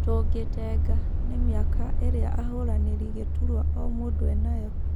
Tũgĩtenga, ni mĩaka ĩrĩa ahũranĩri gĩturua o-mũndũ enayo.